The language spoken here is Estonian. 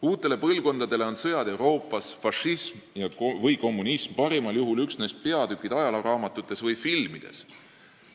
Uutele põlvkondadele on sõjad Euroopas, fašism või kommunism parimal juhul üksnes peatükid ajalooraamatutes või filmides.